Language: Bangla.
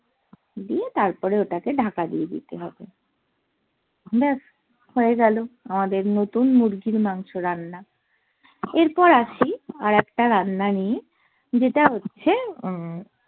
দিয়ে তারপর ওটা কে ঢাকা দিয়ে দিতে হবে ব্যাস হয়ে গেলো আমাদের নতুন মুরগির মাংস রান্না এরপর আসি আর একটা রান্না নিয়ে যেটা হচ্ছে আহ